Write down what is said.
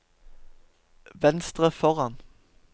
venstre foran